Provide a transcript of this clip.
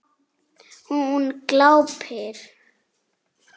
Hún glápir.